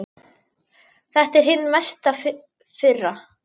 Þetta er hin mesta firra.